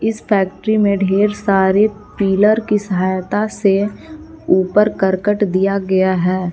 इस फैक्ट्री में ढेर सारे पिलर की सहायता से ऊपर करकट दिया गया है।